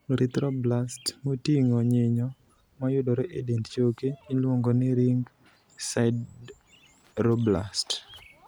Erythroblasts moting'o nyinyo, ma yudore e dend choke, iluongo ni ring sideroblasts.